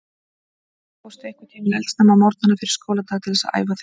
Fórstu einhvern tímann eldsnemma á morgnana fyrir skóladag til þess að æfa þig?